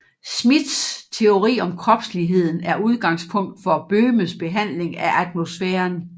Schmitz teori om kropsligheden er udgangspunkt for Böhmes behandling af atmosfæren